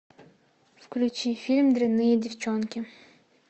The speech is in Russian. включи фильм дрянные девчонки